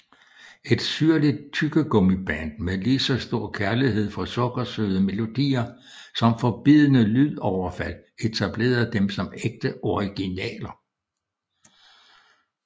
Et syrligt tyggegummiband med lige så stor kærlighed for sukkersøde melodier som for bidende lydoverfald etablerede dem som ægte originaler